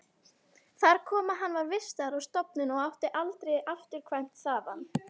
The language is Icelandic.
Þar kom að hann var vistaður á stofnun og átti aldrei afturkvæmt þaðan.